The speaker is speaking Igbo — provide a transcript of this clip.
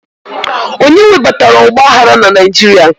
Onye webatara ọgba aghara na Naijiria?